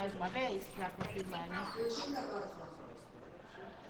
включи кабатла